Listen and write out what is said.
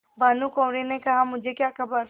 भानुकुँवरि ने कहामुझे क्या खबर